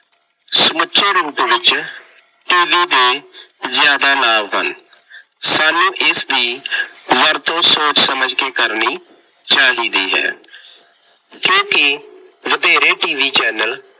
ਸਮੁੱਚੇ ਰੂਪ ਵਿੱਚ TV ਦੇ ਜ਼ਿਆਦਾ ਲਾਭ ਹਨ। ਸਾਨੂੰ ਇਸਦੀ ਵਰਤੋਂ ਸੋਚ ਸਮਝ ਕੇ ਕਰਨੀ ਚਾਹੀਦੀ ਹੈ, ਕਿਉਂਕਿ ਵਧੇਰੇ TV ਚੈਨਲ